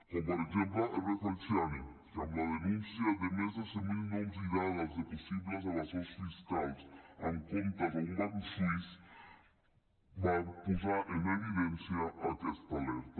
com per exemple hervé falciani que amb la denúncia de més de cent mil noms i dades de possibles evasors fiscals amb comptes a un banc suís va posar en evidència aquesta alerta